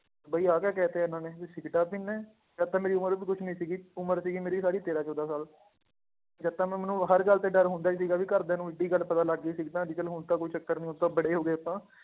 ਬਾਈ ਆਹ ਕਿਆ ਕਹਿ ਦਿੱਤਾ ਇਹਨਾਂ ਨੇ ਵੀ ਸਿਗਰਟਾਂ ਪੀਂਦਾ ਹੈ, ਜਦ ਤਾਂ ਮੇਰੀ ਉਮਰ ਵੀ ਕੁਛ ਨੀ ਸੀਗੀ ਉਮਰ ਸੀਗੀ ਮੇਰੀ ਸਾਰੀ ਤੇਰਾਂ ਚੌਦਾਂ ਸਾਲ ਜਦ ਤਾਂ ਮੈਂ ਮੈਨੂੰ ਹਰ ਗੱਲ ਤੇ ਡਰ ਹੁੰਦਾ ਹੀ ਸੀਗਾ ਵੀ ਘਰਦਿਆਂ ਨੂੰ ਇੱਡੀ ਗੱਲ ਪਤਾ ਲੱਗ ਗਈ ਸਿਗਰਟਾਂ ਲੇਕਿੰਨ ਹੁਣ ਤਾਂ ਕੋਈ ਚੱਕਰ ਨੀ ਹੁਣ ਤਾਂ ਬੜੇ ਹੋ ਗਏ ਆਪਾਂ